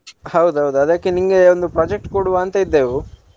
ಹೌದ್ ಹೌದ್ ಅದ್ಕೆ ನಿನ್ಗೆ ಒಂದು project ಕೊಡುವ ಅಂತ ಇದ್ದೆವು.